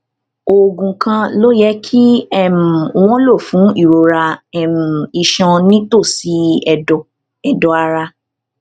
oògùn kan ló yẹ kí um wón lò fún ìrora um iṣan nítòsí èdọ èdọ ara um